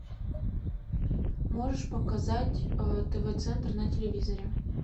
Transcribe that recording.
можешь показать тв центр на телевизоре